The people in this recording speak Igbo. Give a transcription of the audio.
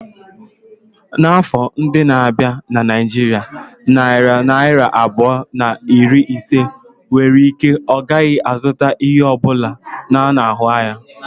N'afọ ndị na-abịa na Naijiria, narị naira abụọ na iri ise nwere ike ọ gaghị azụta ihe ọ bụla a na-ahụ anya.